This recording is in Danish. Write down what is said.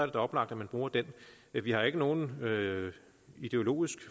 da oplagt at man bruger den men vi har ikke nogen ideologisk